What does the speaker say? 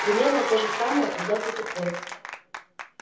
примерно то же самое когда ты тупой